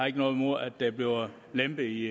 ikke noget mod at der bliver lempet i